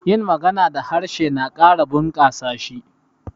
yin magana da harshe na Kara bukasa s hi